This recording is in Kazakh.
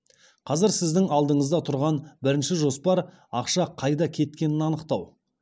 қазір сіздің алдыңызда тұрған бірінші жоспар ақша қайда кеткенін анықтау